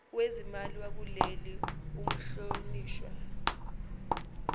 wezimali wakuleli umhlonishwa